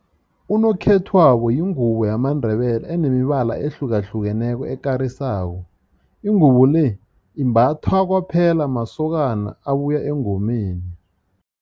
Unokhethwabo yingubo yamaNdebele enemibala ehlukahlukeneko ekarisako. Ingubo le imbathwa kwaphela masokana abuya engomeni.